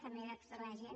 també de tota la gent